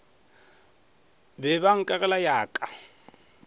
be ba nkagela ya ka